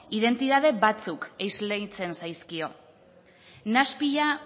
identitatea batzuk esleitzen zaizkio nahaspila